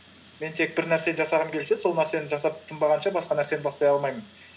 мен тек бір нәрсені жасағым келсе сол нәрсені жасап тынбағанша басқа нәрсені бастай алмаймын